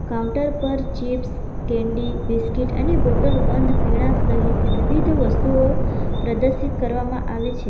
Counter પર chips candy biscuit અને bottle બંધ પીણા સહિત વિવિધ વસ્તુઓ પ્રદર્શિત કરવામાં આવે છે.